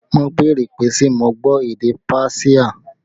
Wọn béèrè pé ṣe mo gbọ́ èdè páṣíà